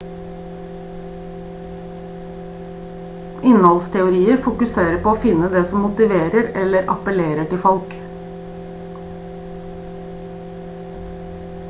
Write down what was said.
innholdsteorier fokuserer på å finne det som motiverer eller appellerer til folk